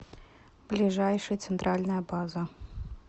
ближайший центральная база